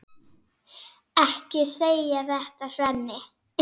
Ekki segja þetta, Svenni.